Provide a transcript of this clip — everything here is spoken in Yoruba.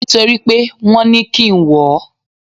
Nítorí pé wọn ní kí n wọ̀ ọ́.